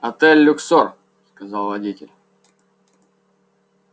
отель люксор сказал водитель